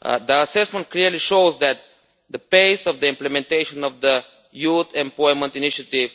The assessment clearly shows that the pace of implementation of the Youth Employment Initiative